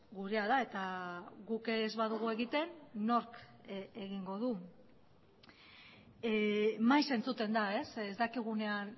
gurea da eta guk ez badugu egiten nork egingo du maiz entzuten da ez dakigunean